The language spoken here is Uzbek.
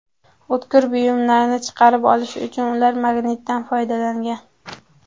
O‘tkir buyumlarni chiqarib olish uchun ular magnitdan foydalangan.